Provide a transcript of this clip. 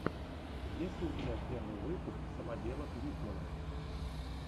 есть ли у тебя первый выпуск самоделок витмана